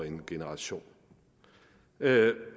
en generation